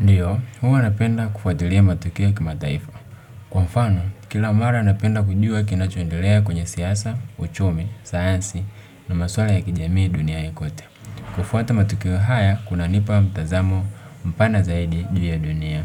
Ndiyo, huwa napenda kufuatilia matokeo ya kimataifa. Kwa mfano, kila mara napenda kujua kinachoendelea kwenye siasa, uchumi, sayansi na maswala ya kijamii duniani kote kufuata matukio haya, kuna nipa mtazamo mpana zaidi juu ya dunia.